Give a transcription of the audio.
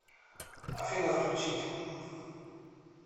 афина включить